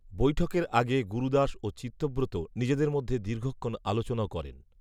বৈঠকের আগে গুরুদাস ও চিত্তব্রত নিজেদের মধ্যে দীর্ঘক্ষণ আলোচনাও করেন